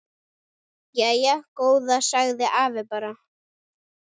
Jæja góða sagði afi bara.